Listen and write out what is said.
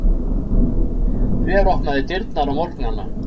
Hver opnar dyrnar á morgnana?